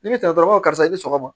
Ni ne bɛ tantɔ dɔrɔn karisa i bɛ sɔgɔma